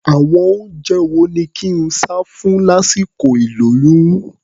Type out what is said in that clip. Àwọn oúnjẹ wo ni kí n sá fún lásìkol ìlóyún?